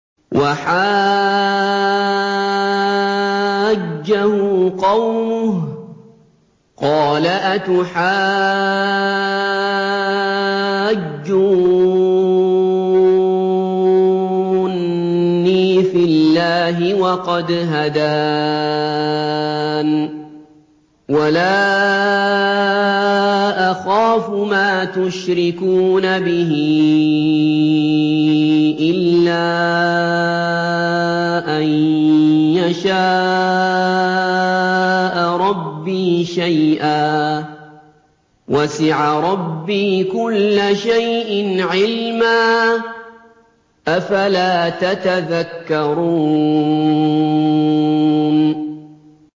وَحَاجَّهُ قَوْمُهُ ۚ قَالَ أَتُحَاجُّونِّي فِي اللَّهِ وَقَدْ هَدَانِ ۚ وَلَا أَخَافُ مَا تُشْرِكُونَ بِهِ إِلَّا أَن يَشَاءَ رَبِّي شَيْئًا ۗ وَسِعَ رَبِّي كُلَّ شَيْءٍ عِلْمًا ۗ أَفَلَا تَتَذَكَّرُونَ